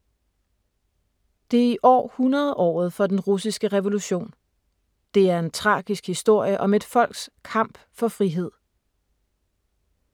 Det er i år 100-året for den russiske revolution. Det er en tragisk historie om et folks kamp for frihed.